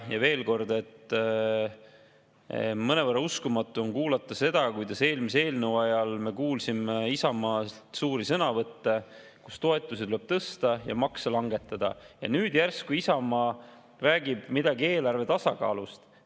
Ja veel kord: mõnevõrra uskumatu on kuulata seda, kuidas eelmise eelnõu ajal me kuulsime Isamaa suuri sõnavõtte, et toetusi tuleb tõsta ja makse langetada, ja nüüd järsku Isamaa räägib midagi eelarve tasakaalust.